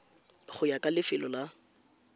go ya ka lefelo la